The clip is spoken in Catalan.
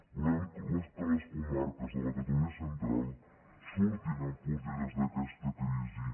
volem que les comarques de la catalunya central surtin enfortides d’aquesta crisi